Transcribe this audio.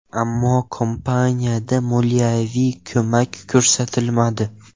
Ammo kompaniyaga moliyaviy ko‘mak ko‘rsatilmadi.